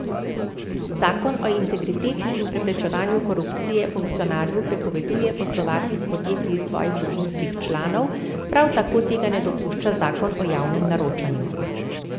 Zakon o integriteti in preprečevanju korupcije funkcionarju prepoveduje poslovati s podjetji svojih družinskih članov, prav tako tega ne dopušča zakon o javnem naročanju.